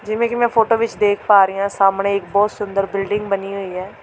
ਜਿਵੇਂ ਕੀ ਮੈਂ ਫ਼ੋਟੋ ਵਿੱਚ ਦੇਖ ਪਾ ਰਹੀਂ ਆਂ ਸਾਹਮਣੇ ਇੱਕ ਬਹੁਤ ਸੁੰਦਰ ਬਿਲਡਿੰਗ ਬਣੀ ਹੋਈ ਐ।